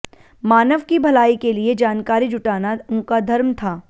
मानव की भलाई के लिए जानकारी जुटाना उनका धर्म था